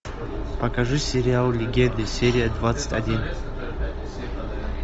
покажи сериал легенды серия двадцать один